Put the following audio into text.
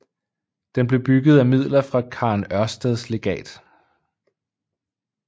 Den blev bygget af midler fra Karen Ørsteds legat